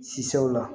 Sisanw la